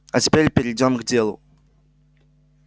а теперь перейдём к делу